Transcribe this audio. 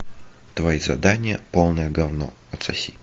твои задания полное говно отсоси